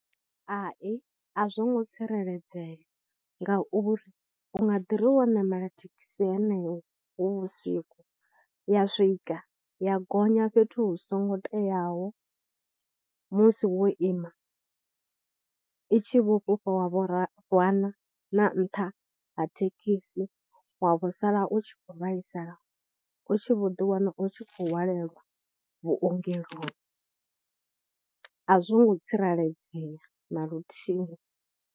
Hai, a zwo ngo tsireledzea ngauri u nga ḓi ri wo ṋamela thekhisi yeneyo hu vhusiku ya swika ya gonya fhethu hu songo teaho musi wo ima, i tshi vho fhufha wa vho rwana na nṱha ha thekhisi wa vho sala u tshi khou vhaisala, u tshi vho ḓi wana u tshi khou hwalelwa vhungeloni. A zwi ngo tsireledzea na luthihi.